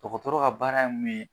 Dɔkɔtɔrɔ ka baara ye min ye